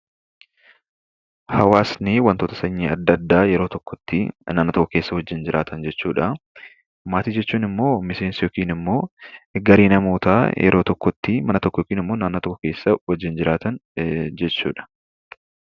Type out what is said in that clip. Hawaasnii wantoota sanyii adda addaa yeroo tokkotti mana tokko keessa wajjiin jiraatan jechuudha. Maatii jechuunimmoo miseensa yookinimmoo garee namootaa yeroo tokkotti mana tokko yookiin naannoo tokko wajjiin jiraatan jechuudha.